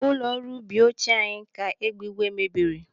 Ụlọ ọrụ ubi ochie anyị ka egbe ìgwè mebiri.